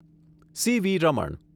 CV. Raman